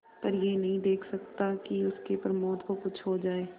पर यह नहीं देख सकता कि उसके प्रमोद को कुछ हो जाए